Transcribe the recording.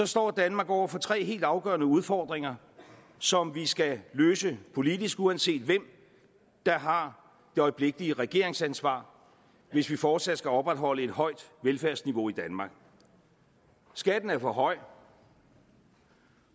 står danmark over for tre helt afgørende udfordringer som vi skal løse politisk uanset hvem der har det øjeblikkelige regeringsansvar hvis vi fortsat skal opretholde et højt velfærdsniveau i danmark skatten er for høj